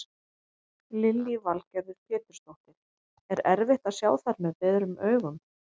Lillý Valgerður Pétursdóttir: Er erfitt að sjá þær með berum augum?